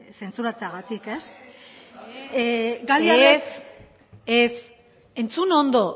zentzuratzeagatik ez ez ez entzun ondo